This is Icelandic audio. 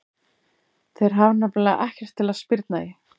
Þeir hafa nefnilega ekkert til að spyrna í.